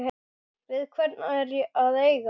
Við hvern er að eiga?